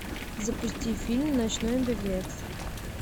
запусти фильм ночной беглец